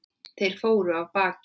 Þeir fóru af baki.